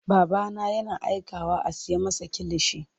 Babana yana aikawa a siya masa kilishi.